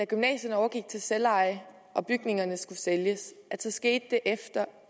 gymnasierne overgik til selveje og bygningerne skulle sælges skete det efter